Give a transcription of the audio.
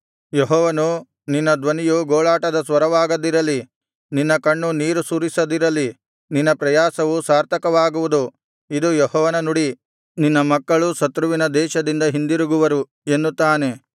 ಯೆಹೋವನು ನಿನ್ನ ಧ್ವನಿಯು ಗೋಳಾಟದ ಸ್ವರವಾಗದಿರಲಿ ನಿನ್ನ ಕಣ್ಣು ನೀರು ಸುರಿಸದಿರಲಿ ನಿನ್ನ ಪ್ರಯಾಸವು ಸಾರ್ಥಕವಾಗುವುದು ಇದು ಯೆಹೋವನ ನುಡಿ ನಿನ್ನ ಮಕ್ಕಳು ಶತ್ರುವಿನ ದೇಶದಿಂದ ಹಿಂದಿರುಗುವರು ಎನ್ನುತ್ತಾನೆ